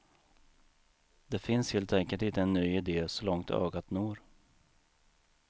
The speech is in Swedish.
Det finns helt enkelt inte en ny idé så långt ögat når.